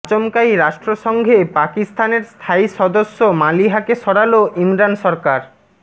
আচমকাই রাষ্ট্রসংঘে পাকিস্তানের স্থায়ী সদস্য মালিহাকে সরাল ইমরান সরকার